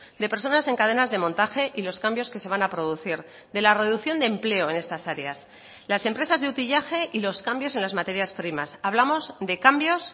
de personas en cadenas de montaje y los cambios que se van a producir de la reducción de empleo en estas áreas las empresas de utillaje y los cambios en las materias primas hablamos de cambios